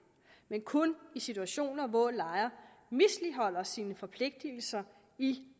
men kun i situationer hvor lejer misligholder sine forpligtigelser i